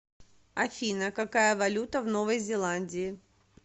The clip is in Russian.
афина какая валюта в новой зеландии